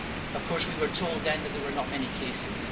Of course, we were told then that there were not many cases.